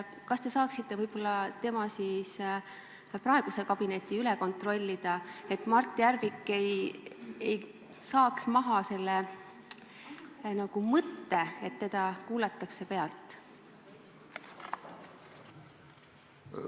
Kas te saaksite võib-olla tema praeguse kabineti üle kontrollida, et Mart Järvik saaks lahti sellest mõttest, et teda kuulatakse pealt?